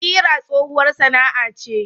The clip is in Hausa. Kira tsohuwar sana'a ce.